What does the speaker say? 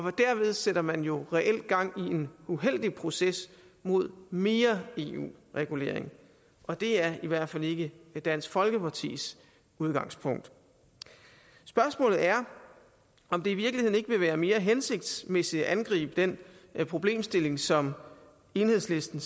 og derved sætter man jo reelt gang i en uheldig proces mod mere eu regulering og det er i hvert fald ikke dansk folkepartis udgangspunkt spørgsmålet er om det i virkeligheden ikke vil være mere hensigtsmæssigt at angribe den problemstilling som enhedslisten